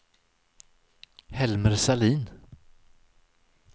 Helmer Sahlin